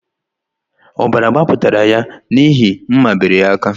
Ọbara gbapụtara ya n’ihi mma bebiri ya aka